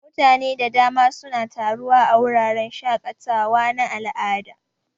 Mutane da dama suna taruwa a wuraren shaƙatawa na al'ada.